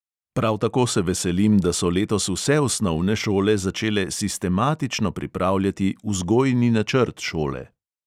Prav tako se veselim, da so letos vse osnovne šole začele sistematično pripravljati vzgojni načrt šole.